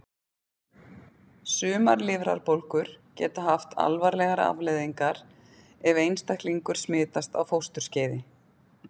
Sumar lifrarbólgur geta haft alvarlegar afleiðingar ef einstaklingur smitast á fósturskeiði.